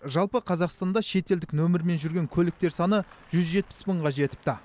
жалпы қазақстанда шетелдік нөмірмен жүрген көліктер саны жүз жетпіс мыңға жетіпті